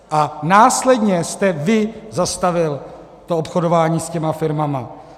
A následně jste vy zastavil to obchodování s těmi firmami.